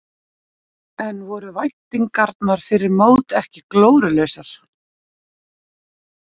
En voru væntingarnar fyrir mót ekki glórulausar?